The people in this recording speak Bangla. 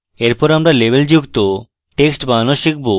এরপর আমরা লেবেলযুক্ত text বানানো শিখব